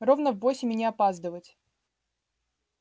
ровно в восемь и не опаздывать